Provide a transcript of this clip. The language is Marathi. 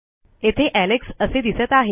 येथे एलेक्स असे दिसत आहे